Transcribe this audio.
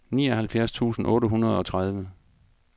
nioghalvfjerds tusind otte hundrede og tredive